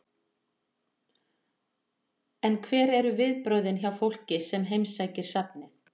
En hver eru viðbrögðin hjá fólki sem heimsækir safnið?